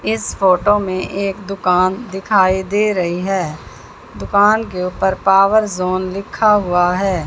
इस फोटो में एक दुकान दिखाई दे रही है दुकान के ऊपर पावर झोन लिखा हुआ है।